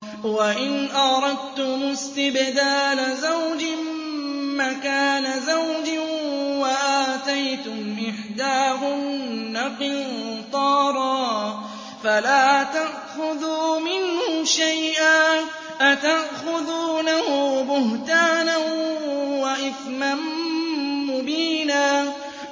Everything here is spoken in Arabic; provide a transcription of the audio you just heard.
وَإِنْ أَرَدتُّمُ اسْتِبْدَالَ زَوْجٍ مَّكَانَ زَوْجٍ وَآتَيْتُمْ إِحْدَاهُنَّ قِنطَارًا فَلَا تَأْخُذُوا مِنْهُ شَيْئًا ۚ أَتَأْخُذُونَهُ بُهْتَانًا وَإِثْمًا مُّبِينًا